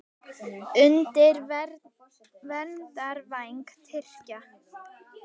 Undir verndarvæng Tyrkja